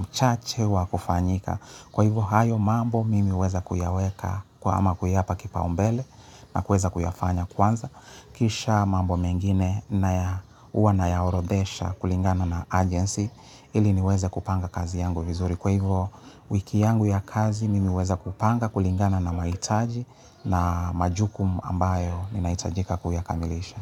mchache wa kufanyika. Kwa hivyo hayo mambo mimi huweza kuyaweka ama kuyapa kipaumbele na kuweza kuyafanya kwanza. Kisha mambo mengine na ya huwa nayaorodesha kulingana na agency ili niweza kupanga kazi yangu vizuri. Kwa hivyo wiki yangu ya kazi mimi huweza kupanga kulingana na mahitaji na majukum ambayo ninaitajika kuyakamilisha.